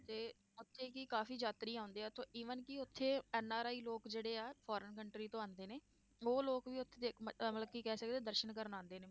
ਤੇ ਉੱਥੇ ਕਿ ਕਾਫ਼ੀ ਯਾਤਰੀ ਆਉਂਦੇ ਆ ਉੱਥੇ even ਕਿ ਉੱਥੇ ਐਨਾਰਾਏ ਲੋਕ ਜਿਹੜੇ ਆ foreign country ਤੋਂ ਆਉਂਦੇ ਹਨ, ਉਹ ਲੋਕ ਵੀ ਉੱਥੇ ਦੇਖ ਮ~ ਅਹ ਮਤਲਬ ਕਿ ਕਹਿ ਸਕਦੇ ਹਾਂ ਦਰਸ਼ਨ ਕਰਨ ਆਉਂਦੇ ਨੇ।